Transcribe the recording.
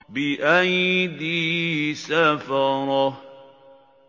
بِأَيْدِي سَفَرَةٍ